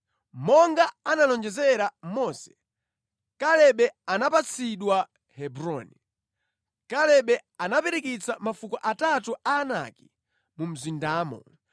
Monga analonjezera Mose, Kalebe anapatsidwa Hebroni. Kalebe anapirikitsa mafuko atatu a Anaki mu mzindamo.